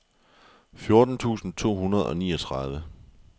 fjorten tusind to hundrede og niogtredive